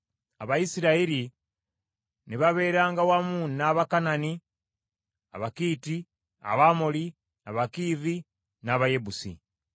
Abayisirayiri ne babeeranga wamu n’Abakanani, Abakiiti, Abamoli, Abakiivi n’aba Yebusi.